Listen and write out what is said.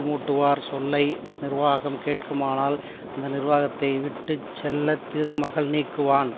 மூட்டுவார் சொல்லை நிர்வாகம் கேட்குமானால் அந்த நிர்வாகத்தை விட்டு செல்வ திருமகள் நீக்குவான்